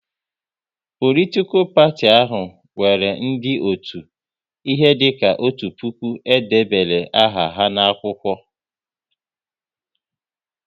Politikal parti ahụ nwere ndị otu, ihe dika otu puku e debere aha ha n'akwụkwọ